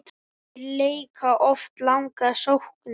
Þeir leika oft langar sóknir.